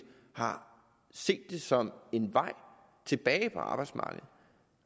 har set det som en vej tilbage til arbejdsmarkedet